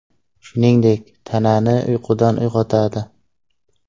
Shuningdek, tanani uyqudan uyg‘otadi.